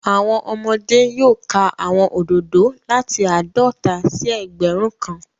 Awọn ọmọde yoo ka awọn ododo lati aadọta si ẹgbẹrun kan